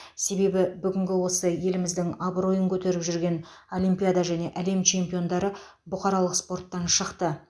себебі бүгінгі осы еліміздің абыройын көтеріп жүрген олимпиада және әлем чемпиондары бұқаралық спорттан шықты